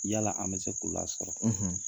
Yala an bɛ se k'o lasɔrɔ.